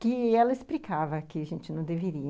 que ela explicava que a gente não deveria.